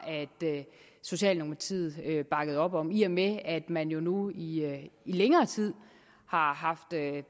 at socialdemokratiet bakkede op om i og med at man jo nu i i længere tid har haft